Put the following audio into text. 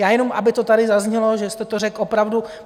Já jenom, aby to tady zaznělo, že jste to řekl opravdu...